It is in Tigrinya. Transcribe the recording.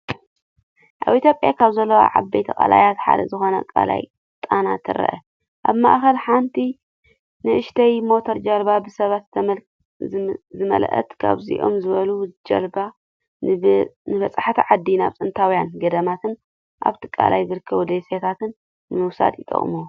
ኣብ ኢትዮጵያ ካብ ዘለዉ ዓበይቲ ቀላያት ሓደ ዝኾነ ቀላይ ጣና ትረአ። ኣብ ማእከል ሓንቲ ንእሽቶይ ሞተር ጃልባ ብሰባት ዝመልአት፣ ከምዚኦም ዝበሉ ጀላቡ ንበጻሕቲ ዓዲ ናብ ጥንታውያን ገዳማትን ኣብቲ ቀላይ ዝርከቡ ደሴታትን ንምውሳድ ይጥቀሙ።